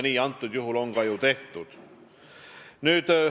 Nii on antud juhul ka ju tehtud.